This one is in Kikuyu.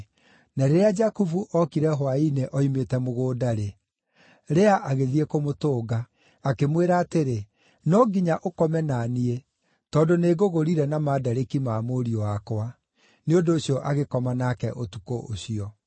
Na rĩrĩa Jakubu ookire hwaĩ-inĩ oimĩte mũgũnda-rĩ, Lea agĩthiĩ kũmũtũnga. Akĩmwĩra atĩrĩ, “No nginya ũkome na niĩ, tondũ nĩngũgũrire na mandarĩki ma mũriũ wakwa.” Nĩ ũndũ ũcio agĩkoma nake ũtukũ ũcio.